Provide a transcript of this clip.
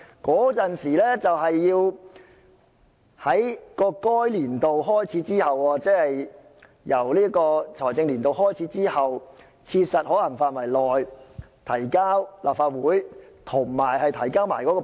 該預算須在該年度開始之後，即在財政年度開始之後的切實可行範圍內與撥款條例草案一同提交立法會。